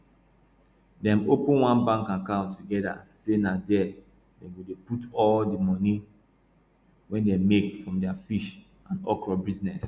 dem open one bank account together say na there dem go dey put all the moni wey dem make from their fish and okro business